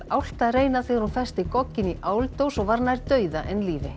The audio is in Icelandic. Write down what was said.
álft að reyna þegar hún festi gogginn í áldós og var nær dauða en lífi